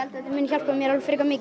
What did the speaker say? þetta muni hjálpa mér alveg frekar mikið